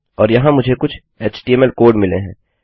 और यहाँ मुझे कुछ एचटीएमएल कोड मिले हैं